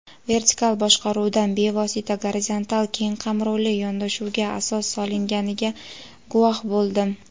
vertikal boshqaruvdan bevosita gorizontal keng qamrovli yondashuvga asos solinganiga guvoh bo‘ldim.